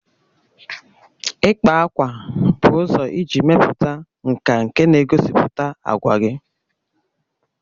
Ịkpa ákwà bụ ụzọ iji mepụta nka nke na-egosipụta àgwà gị